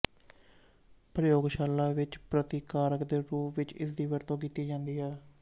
ਪ੍ਰਯੋਗਸ਼ਾਲਾ ਵਿੱਚ ਪ੍ਰਤੀਕਾਰਕ ਦੇ ਰੂਪ ਵਿੱਚ ਇਸਦੀ ਵਰਤੋਂ ਕੀਤੀ ਜਾਂਦੀ ਹੈ